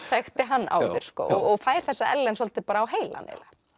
þekkti hann áður og fær þessa Ellen svolítið á heilann